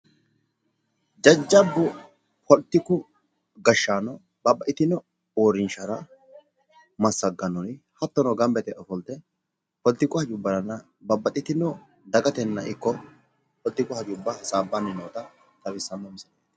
jajjabbu poolitiku gaashshaano babbaxxitino uriinshshara masagannori hattono ganba yite ofoolte poolitiku hajubbara babbaxxitino daggatenna poolitiku hajubbara hasaabbanni noota xawisano.